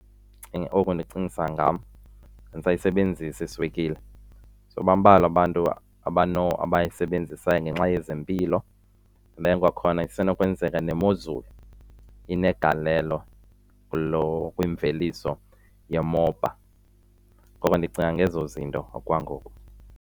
Oku kundicingisa ngam, andisayisebenzisi iswekile. So bambalwa abantu abayisebenzisayo ngenxa yezempilo. Then kwakhona isenokwenzeka nemozulu inegalelo kwimveliso yomoba. Ngoko ndicinga ngezo zinto okwangoku.